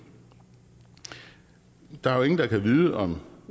der er jo ingen der kan vide om